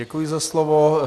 Děkuji za slovo.